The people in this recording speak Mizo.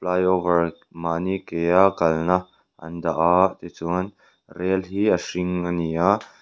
fly over mahni kea kalna an dah a tichuan rel hi a hring a ni a.